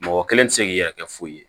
Mɔgɔ kelen tɛ se k'i yɛrɛ kɛ foyi ye